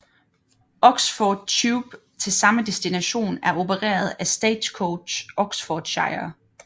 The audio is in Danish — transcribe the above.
Oxford Tube til samme destination er opereret af Stagecoach Oxfordshire